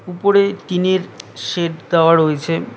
উপরে টিনের শেড দেওয়া রয়েছে।